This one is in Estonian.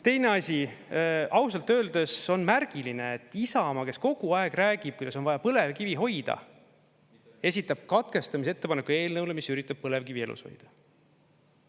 Teine asi, ausalt öeldes on märgiline, et Isamaa, kes kogu aeg räägib, kuidas on vaja põlevkivi hoida, esitab katkestamise ettepaneku eelnõule, mis üritab põlevkivi elus hoida.